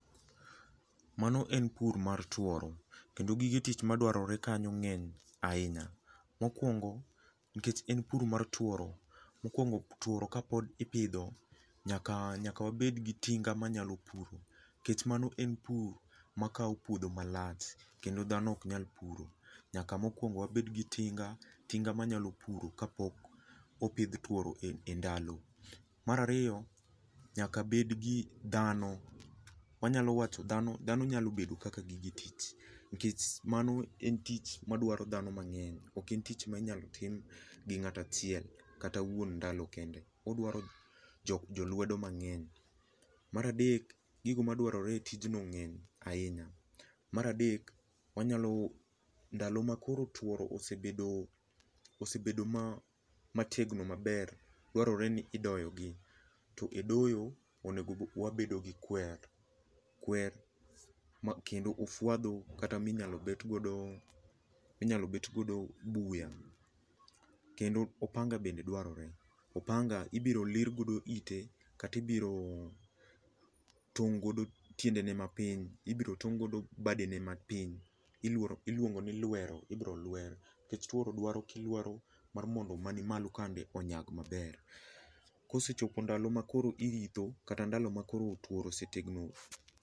Mano en pur mar tuoro kendo gige tich madwarore kanyo ngeny ahinya. Mokuongo nikech en pur mar tuoro, mokuongo tuoro kapod ipidho, nyaka nyak wabed gi tinga manyalo puro nikech mano en pur makao puodho malach kendo dhano ok nyal puro ,nyaka mokuongo wabed gi tinga tinga manyalo puro kapok opidh tuoro e ndalo. Mar ariyo nyaka bed gi dhano, wanyalo wacho, dhano nyalo bedo kaka gige tich nikech mano en tich madwaro dhano mangeny, oken tich minyal tim gi ngato achiel kata wuon ndalo kende, odwaro jolwedo mangeny. Mar adek gigo madware e tijno ngeny ahinya, mar adek wanyalo, ndalo ma koro tuoro osebedo, osebedo ma mategno maber, dwarore ni idoyo gi to e doyo onego wabedo gi kwer, kwer ma kendo ofwadho kata minyalo bet godo ,minyalo bet godo buya kendo opanga bende dwarore, opanga ibiro lir godo ite kata ibiro tong godo tiende ne mapiny, ibiro tong godo badene mapiny, iluongo ni lwero, ibiro lwer nikech tuoro kilwero mar mondo mani malo kande onyag maber. Kosechopo ndalo makoro iritho kata ndalo makoro tuoro otegno